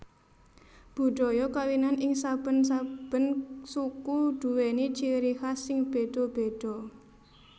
Budhaya kawinan ing saben saben suku duwèni ciri khas sing bedha bedha